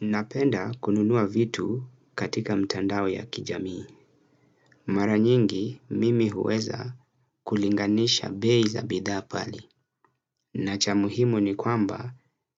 Napenda kununua vitu katika mtandao ya kijamii. Mara nyingi mimi huweza kulinganisha bei za bidhaa pale. Na cha muhimu ni kwamba